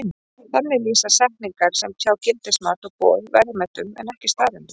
Þannig lýsa setningar sem tjá gildismat og boð verðmætum en ekki staðreyndum.